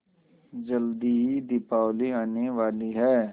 जल्दी ही दीपावली आने वाली है